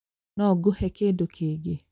No ngũhe kĩndũ kĩngĩ?